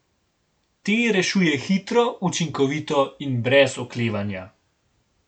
Te rešuje hitro, učinkovito in brez oklevanja.